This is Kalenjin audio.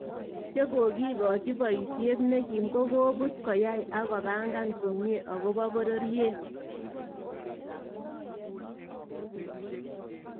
Chegogigochi bayiisyeet nekim kokobuut koyai ak kobangan komnye akobo bororyeet